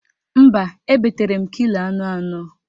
Mba, ebetere m kilo anụ anọ